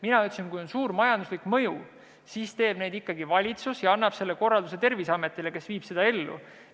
Mina ütlesin, et kui on suur majanduslik mõju, siis teeb otsuse ikkagi valitsus ja annab korralduse Terviseametile, kes viib selle ellu.